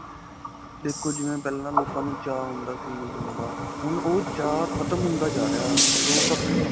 ਦੇਖੋ ਜਿਵੇਂ ਪਹਿਲਾਂ ਲੋਕਾਂ ਨੂੰ ਚਾਅ ਹੁੰਦਾ ਸੀ ਮਿਲਣ ਦਾ. ਹੁਣ ਓਹ ਚਾਅ ਖਤਮ ਹੁੰਦਾ ਜਾ ਰਿਹਾ. ਲੋਕ ਆਪਣੇ.